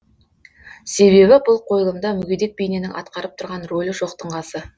себебі бұл қойылымда мүгедек бейненің атқарып тұрған рөлі жоқтың қасы